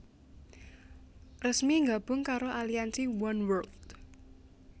resmi gabung karo aliansi Oneworld